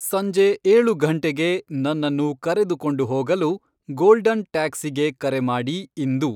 ಸಂಜೆ ಏಳು ಘಂಟೆಗೆ ನನ್ನನ್ನು ಕರೆದುಕೊಂಡು ಹೋಗಲು ಗೋಲ್ಡನ್ ಟ್ಯಾಕ್ಸಿಗೆ ಕರೆ ಮಾಡಿ ಇಂದು